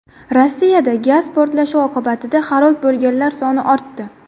Rossiyada gaz portlashi oqibatida halok bo‘lganlar soni ortdi.